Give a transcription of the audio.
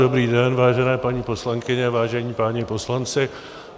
Dobrý den, vážené paní poslankyně, vážení páni poslanci.